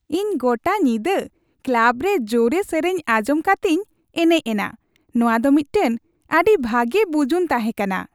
ᱤᱧ ᱜᱚᱴᱟ ᱧᱤᱫᱟᱹ ᱠᱞᱟᱵ ᱨᱮ ᱡᱳᱨᱮ ᱥᱮᱨᱮᱧ ᱟᱸᱡᱚᱢ ᱠᱟᱛᱮᱧ ᱮᱱᱮᱡ ᱮᱱᱟ ᱾ ᱱᱚᱣᱟ ᱫᱚ ᱢᱤᱫᱴᱟᱝ ᱟᱹᱰᱤ ᱵᱷᱟᱜᱮ ᱵᱩᱡᱩᱱ ᱛᱟᱦᱮᱠᱟᱱᱟ ᱾